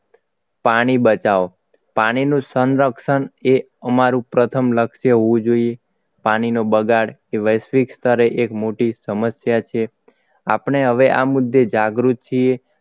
પાણી બચાવો પાણીનો સંરક્ષણ એ અમારું પ્રથમ લક્ષ્ય હોવું જોઈએ પાણીનો બગાડ કે વૈશ્વિક સ્તરે એક મોટી સમસ્યા છે આપણે હવે આ મુદ્દે જાગૃત છીએ